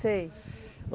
Sei.